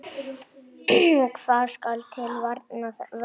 Hvað skal til varnar verða?